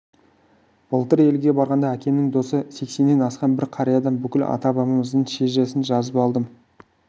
былтыр елге барғанда әкемнің досы сексеннен асқан бір қариядан бүкіл ата-бабамыздың шежіресін жазып алдым